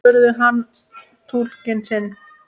spurði hann túlkinn sinn.